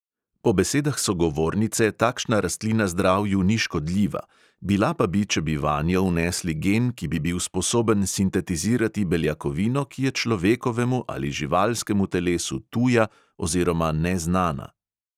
Po besedah sogovornice takšna rastlina zdravju ni škodljiva, bila pa bi, če bi vanjo vnesli gen, ki bi bil sposoben sintetizirati beljakovino, ki je človekovemu ali živalskemu telesu tuja oziroma neznana.